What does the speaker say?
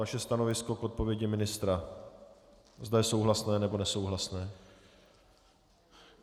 Vaše stanovisko k odpovědi ministra, zda je souhlasné, nebo nesouhlasné.